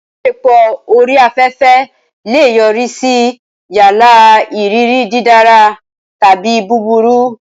Ìbáṣepọ̀ orí afẹ́fẹ́ lè yọrí sí yálà ìrírí dídára tàbí búburú.